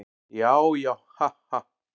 Já, já, ha, ha.